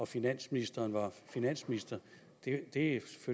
finansministeren var finansminister